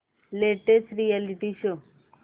latest reality show